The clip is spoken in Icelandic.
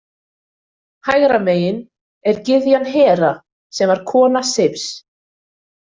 Hægra megin er gyðjan Hera sem var kona Seifs.